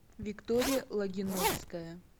виктория логиновская